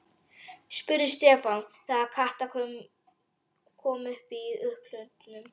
spurði Stefán þegar Kata kom í upphlutnum.